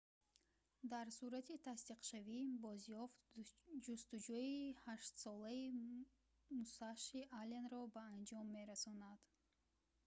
дар сурати тасдиқшавӣ бозёфт ҷустуҷӯи ҳаштсолаи мусаши алленро ба анҷом мерасонад